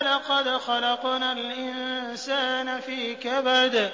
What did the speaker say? لَقَدْ خَلَقْنَا الْإِنسَانَ فِي كَبَدٍ